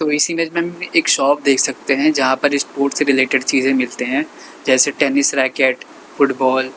इस इमेज में हम एक शॉप देख सकते हैं जहां पर स्पोर्ट्स से रिलेटेड चीज मिलते हैं जैसे टेनिस रैकेट फुटबॉल ।